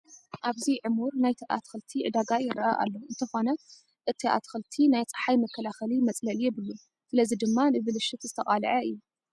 ኣብዚ ዕሙር ናይ ኣትክልቲ ዕዳጋ ይርአ ኣሎ፡፡ እንተኾነ እቲ ኣትክልቲ ናይ ፀሓይ መከላኸሊ መፅለሊ የብሉን፡፡ ስለዚ ድማ ንብልሽት ዘተቃልዐ እዩ፡፡